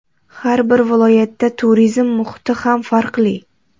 Har bir viloyatda turizm muhiti ham farqli.